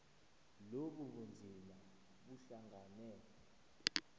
lobu bunzima buhlangane